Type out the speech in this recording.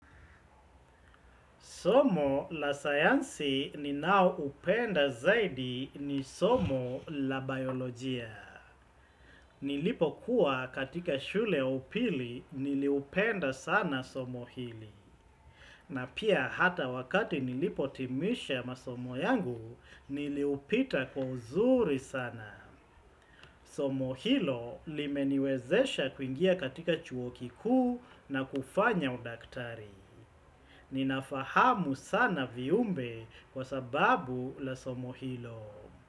Somo la sayansi ni nao upenda zaidi ni somo la biolojia. Nilipo kuwa katika shule ya upili niliupenda sana somo hili. Na pia hata wakati nilipo timisha masomo yangu niliupita kwa uzuri sana. Somo hilo limeniwezesha kuingia katika chuokikuu na kufanya udaktari. Ninafahamu sana viumbe kwa sababu la somo hilo.